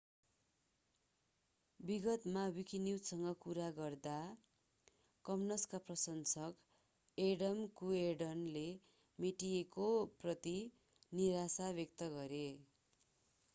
विगतमा विकीन्युजसँग कुरा गर्दा कमन्सका प्रशासक एडम कुएर्डनले मेटिएको प्रति निराशा व्यक्त गरे